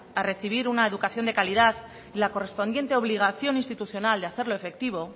a recibir una educación de calidad y la correspondiente obligación institucional de hacerlo efectivo